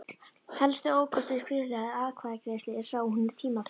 Helsti ókostur skriflegrar atkvæðagreiðslu er sá að hún er tímafrek.